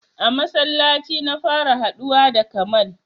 A masallaci na fara haɗuwa da Kamal.